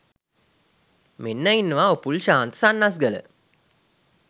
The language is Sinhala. මෙන්න ඉන්නවා උපුල් ශාන්ත සන්නස්ගල